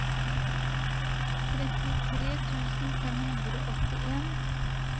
trettitre tusen fem hundre og åttien